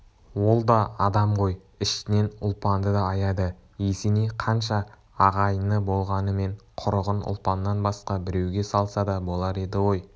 ол да адам ғой ішінен ұлпанды да аяды есеней қанша ағайыны болғанымен құрығын ұлпаннан басқа біреуге салса да болар еді ғой